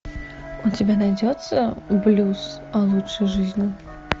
у тебя найдется блюз о лучшей жизни